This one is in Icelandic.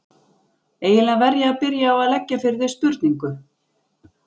Eiginlega verð ég að byrja á að leggja fyrir þig spurningu.